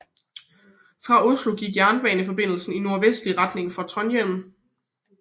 Fra Oslo gik jernbaneforbindelser i nordvestlig retning til Trondhjem